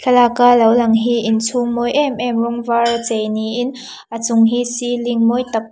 thlalaka lo lang hi inchhung mawi em em rawng vara chei niin a chung hi ceiling mawi tak.